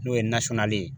N'o ye nasɔngɔlen ye